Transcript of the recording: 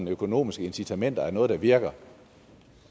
økonomiske incitamenter er noget der virker